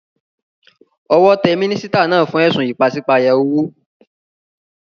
Owó te mínísítà náà fún édùn ìpasípayo owó